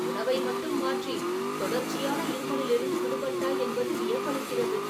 உணவை மட்டும் மாற்றி தொடர்ச்சியான இருமலிலிருந்து விடுபட்டாய் என்பது வியப்பளிக்கிறது.